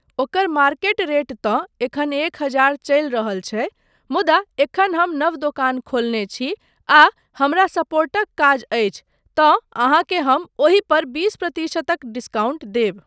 ओकर market rate तँ एखन एक हजार चलि रहल छै मुदा एखन हम नव दोकान खोलने छी आ हमरा सपोर्टक काज अछि तँ अहाँके हम ओहि पर बीस प्रतिशतक डिस्काउंट देब।